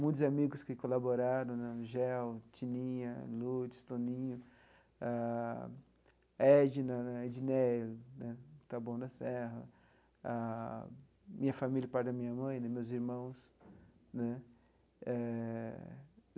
Muitos amigos que colaboraram, né, Angel, Tininha, Lourdes, Toninho, ah Edna, Edneia né, Taboão da Serra, ah minha família, por parte da minha mãe né, meus irmãos né eh.